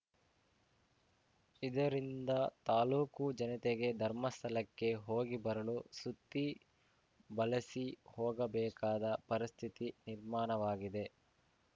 ಇದರಿಂದ ತಾಲೂಕು ಜನತೆಗೆ ಧರ್ಮಸ್ಥಳಕ್ಕೆ ಹೋಗಿ ಬರಲು ಸುತ್ತಿ ಬಳಸಿ ಹೋಗಬೇಕಾದ ಪರಿಸ್ಥಿತಿ ನಿರ್ಮಾಣವಾಗಿದೆ